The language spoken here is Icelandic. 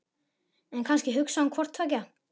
En kannski hugsaði hún hvort tveggja.